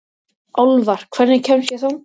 Álfar, hvernig kemst ég þangað?